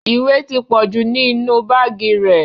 Ìwé ti pọ̀jù ní inú báàgì rẹ́.